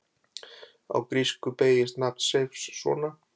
Á grísku beygist nafn Seifs svona: